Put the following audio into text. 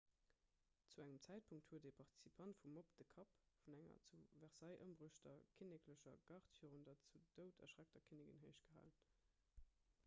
zu engem zäitpunkt huet e participant vum mobb de kapp vun enger zu versailles ëmbruechter kinneklecher gard virun der zu doud erschreckter kinnigin héichgehalen